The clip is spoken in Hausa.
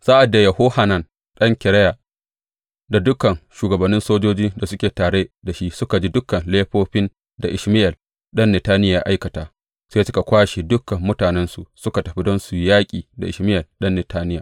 Sa’ad da Yohanan ɗan Kareya da dukan shugabannin sojojin da suke tare da shi suka ji dukan laifofin da Ishmayel ɗan Netaniya ya aikata, sai suka kwashe dukan mutanensu suka tafi don su yaƙi Ishmayel ɗan Netaniya.